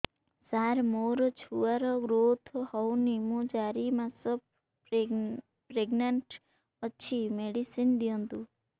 ସାର ମୋର ଛୁଆ ର ଗ୍ରୋଥ ହଉନି ମୁ ଚାରି ମାସ ପ୍ରେଗନାଂଟ ଅଛି ମେଡିସିନ ଦିଅନ୍ତୁ